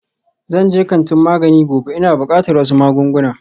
Zan je kantin magani gobe, ina buƙatar wasu magunguna